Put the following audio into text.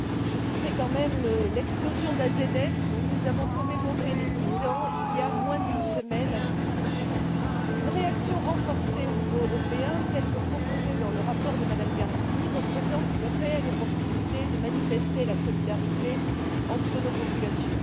Je citerai quand même l'explosion d'AZF, dont nous avons commémoré les dix ans il y a moins d'une semaine à Toulouse. Une réaction renforcée au niveau européen, telle que proposée dans le rapport de Mme Gardini, représente une réelle occasion de manifester la solidarité entre nos populations.